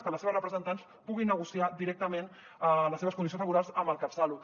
que les seves representants puguin negociar directament les seves condicions laborals amb el catsalut